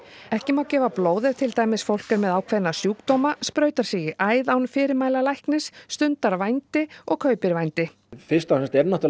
ekki má gefa blóð ef til dæmis fólk er með ákveðna sjúkdóma sprautar sig í æð án fyrirmæla læknis stundar vændi og kaupir vændi fyrst og fremst er náttúrulega